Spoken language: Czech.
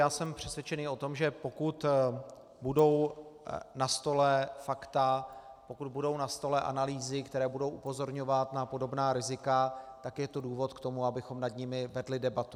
Já jsem přesvědčený o tom, že pokud budou na stole fakta, pokud budou na stole analýzy, které budou upozorňovat na podobná rizika, tak je to důvod k tomu, abychom nad nimi vedli debatu.